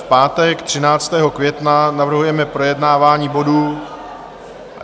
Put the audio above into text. V pátek 13. května navrhujeme projednávání bodů...